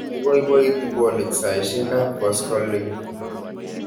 Ipoipoiti polik saisyek ap koskoling'